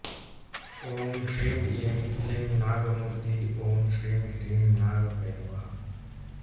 ॐ श्रीं ऐं क्लीं नागमूर्तिः ॐ श्रीं ह्रीं नागभैरवः